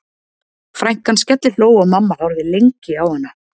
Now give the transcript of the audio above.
Frænkan skellihló og mamma horfði lengi á hana.